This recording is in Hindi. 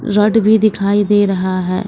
रॉड भी दिखाई दे रहा है।